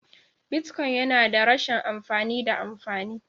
Bitcoin yana da rashin amfani da amfani..